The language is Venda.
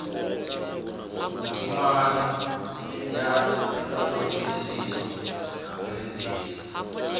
vhutumani ya thodisiso na mveledziso